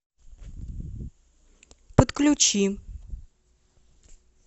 подключи